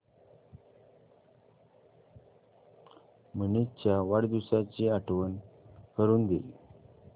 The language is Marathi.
मनीष च्या वाढदिवसाची आठवण करून दे